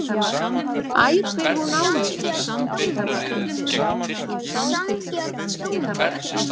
æpir hún á mig.